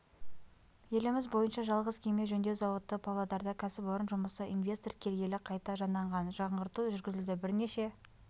еліміз бойынша жалғыз кеме жөндеу зауыты павлодарда кәсіпорын жұмысы инвестор келгелі қайта жанданған жаңғырту жүргізілді бірнеше